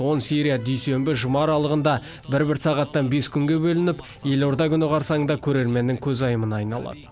он серия дүйсенбі жұма аралығында бір бір сағаттан бес күнге бөлініп елорда күні қарсаңында көрерменнің көзайымына айналады